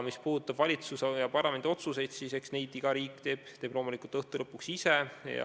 Mis puudutab valitsuse ja parlamendi otsuseid, siis eks neid iga riik teeb loomulikult lõpuks ise.